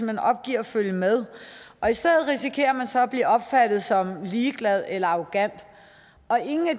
hen opgiver at følge med og i stedet risikerer man så at blive opfattet som ligeglad eller arrogant og ingen af